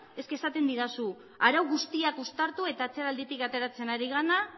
esaten didazu arau guztiak uztartu eta atzeralditik ateratzen